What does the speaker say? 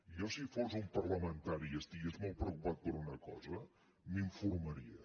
jo si fos un parlamentari i estigués molt preocupat per una cosa m’informaria